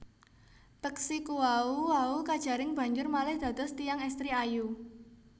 Peksi kuwau wau kajaring banjur malih dados tiyang èstri ayu